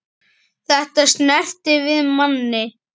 Þetta snertir við manni.